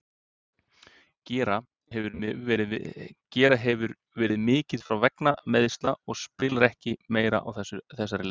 Gera hefur verið mikið frá vegna meiðsla og spilar ekki meira á þessari leiktíð.